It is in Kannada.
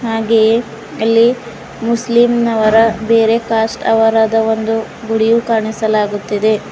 ಹಾಗೆಯೇ ಅಲ್ಲಿ ಮುಸ್ಲಿಂನವರ ಬೇರೆ ಕಾಸ್ಟ್ ಅವರದ ಒಂದು ಗುಡಿಯು ಕಾಣಿಸಲಾಗುತ್ತಿದೆ.